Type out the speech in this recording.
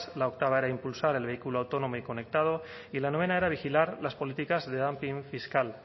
la octava era impulsar el vehículo autónomo y conectado y la novena era vigilar las políticas de dumping fiscal